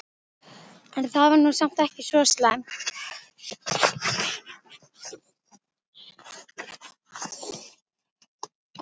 En það var nú samt ekki svo slæmt.